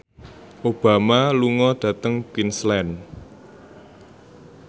Obama lunga dhateng Queensland